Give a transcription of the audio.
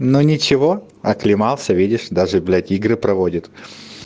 но ничего оклемался видишь даже блять игры проводит